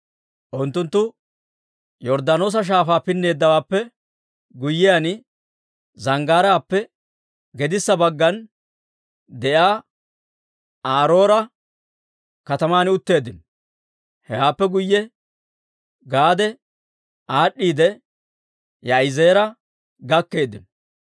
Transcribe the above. Unttunttu Yorddaanoosa Shaafaa pinneeddawaappe guyyiyaan, zanggaaraappe gedissa baggan de'iyaa Aaro'eera kataman utteeddino; hewaappe k'ay Gaade aad'd'iidde Yaa'izeera gakkeeddino.